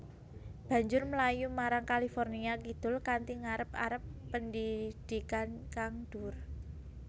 Banjur mlayu marang California kidul kanthi ngarep arep pendhidhikan kang dhuwur